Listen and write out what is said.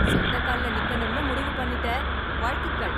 சொந்த கால்ல நிக்கனும்னு முடிவு பண்ணிட்ட, வாழ்த்துக்கள்.